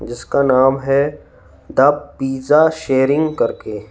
जीसका नाम है the pizza sharing करके--